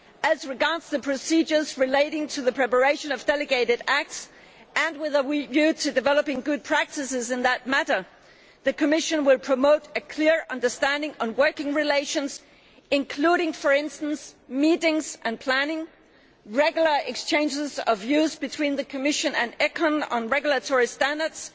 as regards the procedures relating to the preparation of delegated acts and with a view to developing good practices in that matter, the Commission will promote a clear understanding on working relations including for instance meetings and planning, and regular exchanges of views between the Commission and ECON on regulatory standards,